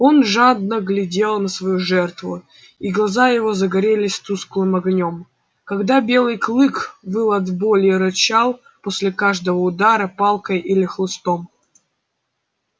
он жадно глядел на свою жертву и глаза его загорелись тусклым огнём когда белый клык выл от боли и рычал после каждого удара палкой или хлыстом